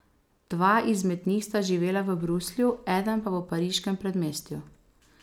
Dva izmed njih sta živela v Bruslju, eden pa v pariškem predmestju.